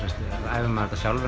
æfir maður þetta sjálfur